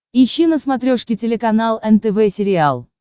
ищи на смотрешке телеканал нтв сериал